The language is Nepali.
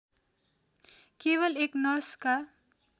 केवल एक नर्सका